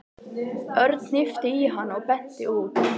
Örn hnippti í hann og benti út.